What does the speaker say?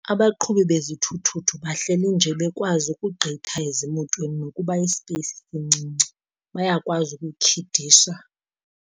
Abaqhubi bezithuthuthu bahleli nje bekwazi ukugqitha ezimotweni nokuba isipeyisi sincinci, bayakwazi ukutyhidisa.